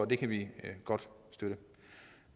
det kan vi godt støtte